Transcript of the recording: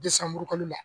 Desan murukulu la